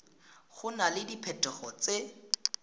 go na le diphetogo tse